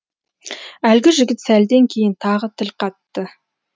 әлгі жігіт сәлден кейін тағы тіл қатты